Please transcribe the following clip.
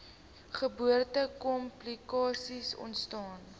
geboorte komplikasies ontstaan